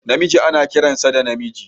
Namiji ana kiransa da namiji